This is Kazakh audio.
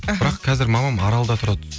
аха бірақ қазір мамам аралда тұрады